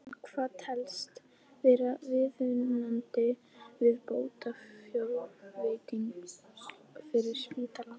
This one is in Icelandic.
En hvað telst vera viðunandi viðbótarfjárveiting fyrir spítalann?